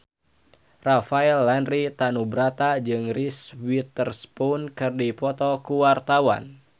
Rafael Landry Tanubrata jeung Reese Witherspoon keur dipoto ku wartawan